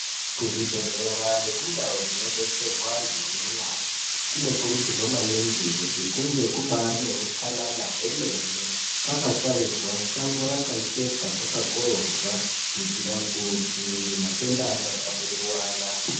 Kuzvibhedhlera nekundau dzinodetserwe antu anorwara, kunokurudzirwa maningi kuti kunge kubaari neutsanana hwemene. Kwakatsvairwa, shango rakachekwa, kwakakorobwa. Kuitira kuti matenda asatapurirwana.